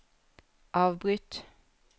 avbryt